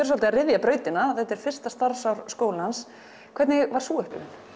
svolítið að ryðja brautina þetta er fyrsta starfsár skólans hvernig var sú upplifun